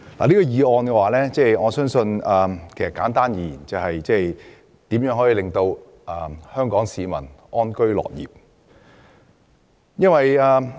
我認為，簡單而言，這項議題的要旨就是如何能令香港市民安居樂業。